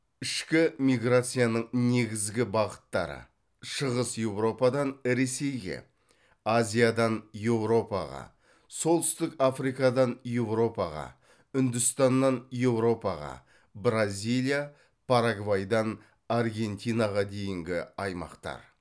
ішкі миграцияның негізгі бағыттары шығыс еуропадан ресейге азиядан еуропаға солтүстік африкадан еуропаға үндістаннан еуропаға бразилия парагвайдан аргентинаға дейінгі аймақтар